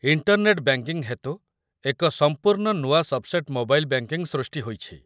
internet banking ହେତୁ ଏକ ସମ୍ପୂର୍ଣ୍ଣ ନୂଆ ସବ୍‌ସେଟ୍‌ ମୋବାଇଲ୍ ବ୍ୟାଙ୍କିଙ୍ଗ ସୃଷ୍ଟି ହୋଇଛି